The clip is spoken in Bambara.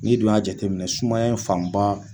Ni dun y'a jateminɛ sumaya fanba